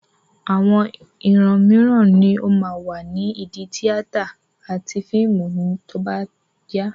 Àwọn ìran mìíràn ni ó máa wà ní ìdí tíátà àti fíìmù tí ó bá yá.